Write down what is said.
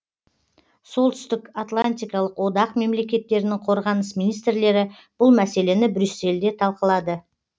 солтүстік атлантикалық одақ мемлекеттерінің қорғаныс министрлері бұл мәселені брюссельде талқылады